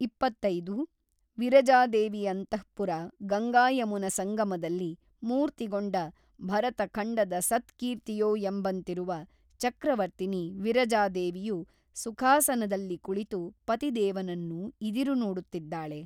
ಇಪ್ಪತ್ತೈದು ವಿರಜಾದೇವಿಯಂತಃಪುರ ಗಂಗಾಯಮುನಾಸಂಗಮದಲ್ಲಿ ಮೂರ್ತಿಗೊಂಡ ಭರತಖಂಡದ ಸತ್ ಕೀರ್ತಿಯೋ ಎಂಬಂತಿರುವ ಚಕ್ರವರ್ತಿನಿ ವಿರಜಾದೇವಿಯು ಸುಖಾಸನದಲ್ಲಿ ಕುಳಿತು ಪತಿದೇವನನ್ನು ಇದಿರುನೋಡುತ್ತಿದ್ದಾಳೆ.